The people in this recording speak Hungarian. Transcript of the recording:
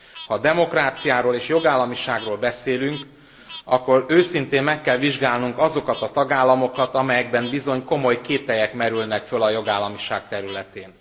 Ha demokráciáról és jogállamiságról beszélünk, akkor őszintén meg kell vizsgálnunk azokat a tagállamokat, amelyekben bizony komoly kételyek merülnek fel a jogállamiság területén.